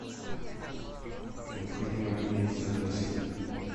необходимо отменить заказ